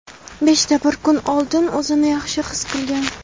Beshta bir kun oldin o‘zini yaxshi his qilgan.